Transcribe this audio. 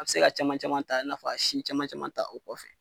A bɛ se ka caman caman ta i n'a fɔ a sin caman caman ta o kɔfɛ.